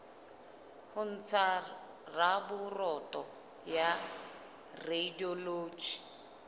ho ntsha raporoto ya radiology